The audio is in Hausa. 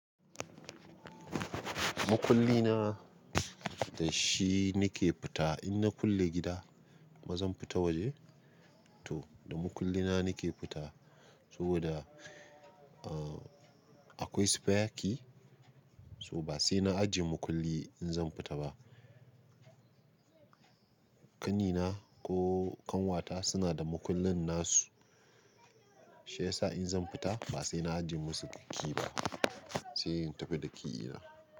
Makulli na dashi nike fita. Inna kulle gida bazan fita waje. Toda makullina nike fita saboda akwai spare key. To ba saina ajiye makulli inzan fita ba. Kanina ko kanwata sunada makullin nasu. Shiyasa in zan fita ba saina ajiye musu key ba, sai in tafi da key na.